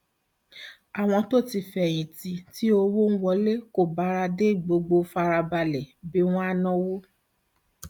àwọn tó ti fẹyìn tì tí owó tó ń wọlé kò bára dé gbọdọ fara balẹ bí wọn á náwó